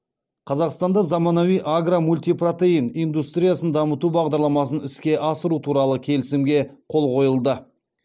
қазақстанда заманауи агро мультипротеин индустриясын дамыту бағдарламасын іске асыру туралы келісімге қол қойылды